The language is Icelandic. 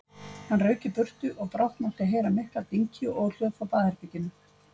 Hann rauk í burtu og brátt mátti heyra mikla dynki og óhljóð frá baðherberginu.